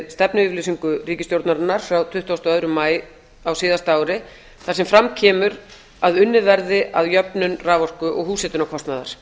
stefnuyfirlýsingu ríkisstjórnarinnar frá tuttugustu og annan maí á síðasta ári þar sem fram kemur að unnið verði að jöfnun raforku húshitunarkostnaðar